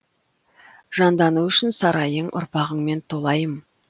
жандану үшін сарайың ұрпағыңмен толайым